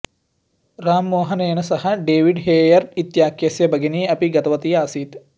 राममोहनेन सह David Hare इत्याख्यस्य भगिनी अपि गतवती आसीत्